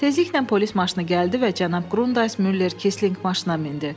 Tezliklə polis maşını gəldi və cənab Grundays Müller Keslinq maşına mindi.